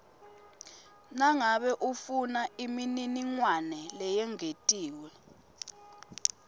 nangabe ufunaimininingwane leyengetiwe